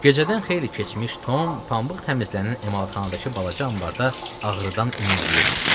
Gecədən xeyli keçmiş Tom pambıq təmizlənən emalatxanadakı balaca anbarda ağrıdan inildəyirdi.